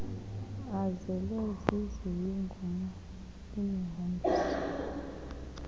azele ziziyunguma imihombiso